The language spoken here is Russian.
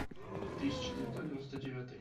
тысяча девятьсот девяносто девятый